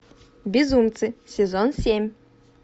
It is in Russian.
безумцы сезон семь